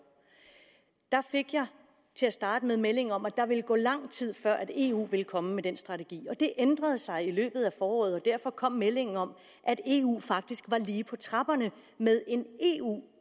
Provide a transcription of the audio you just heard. der fik jeg til at starte med melding om at der ville gå lang tid før eu ville komme med den strategi det ændrede sig i løbet af foråret og derfor kom meldingen om at eu faktisk var lige på trapperne med en eu